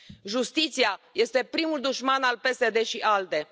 Justiția este primul dușman al PSD și ALDE.